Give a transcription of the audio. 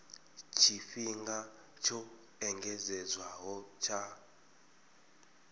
tshifhinga tsho engedzedzwaho tsha u